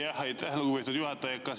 Aitäh, lugupeetud juhataja!